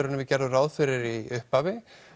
en við gerðum ráð fyrir í upphafi